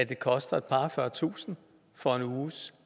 koster et par og fyrretusind for en uges